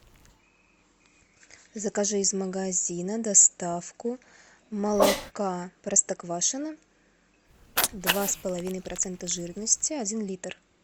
закажи из магазина доставку молока простоквашино два с половиной процента жирности один литр